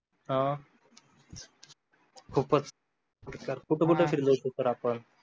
हो खूपच कुठं कुठं फिरले होते सर आपण